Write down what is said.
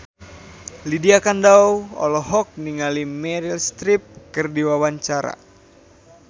Lydia Kandou olohok ningali Meryl Streep keur diwawancara